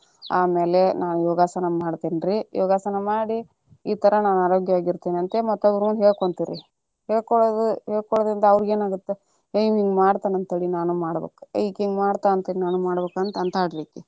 ಆಮೇಲೆ ಯೋಗಾಸನ ಮಾಡ್ತೇನಿರೀ, ಯೋಗಸನಾ ಮಾಡಿ ಈ ತರ ನಾ ಆರೋಗ್ಯವಾಗಿ ಇರ್ತೇನ್ರಿ ಅಂತ ಮತ್ತೊಬ್ಬರ ಮುಂದ ಹೇಳ್ಕೊಂತಿರಿ, ಹೇಳ್ಕೊಳುದು ಹೇಳ್ಕೊಳುದರಿಂದ ಅವ್ರಿಗೆ ಏನ ಅಗತ್ತ ಏ ಇವ್ನ್ ಹಿಂಗ್ ಮಾಡತಾನ ಅಂತೇಳಿ ನಾನು ಮಾಡ್ಬೇಕ ಇಕಿ ಹಿಂಗ ಮಾಡ್ತಾಳಂತ ನಾನು ಮಾಡಬೇಕ ಅಂತ ಅಂತಾಳರಿ ಅಕಿ.